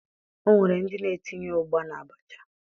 O nwere ndị na-etinye ụgba n'abacha